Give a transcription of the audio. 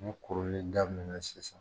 Mun kurunlen daminɛn na sisan.